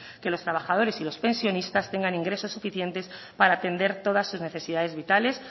que los trabajadores y los pensionistas tengan ingresos suficientes para atender todas sus necesidades vitales